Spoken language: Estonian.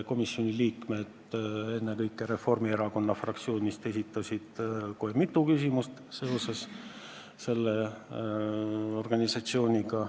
Komisjoni liikmed, ennekõike Reformierakonna fraktsioonist esitasid õige mitu küsimust seoses selle organisatsiooniga.